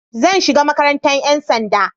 Zan shiga makarantar 'yan sanda.